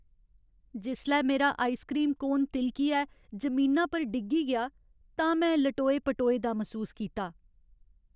जिसलै मेरा ice cream cone ति'लकियै जमीना पर डिग्गी गेआ तां में लटोए पटोए दा मसूस कीता।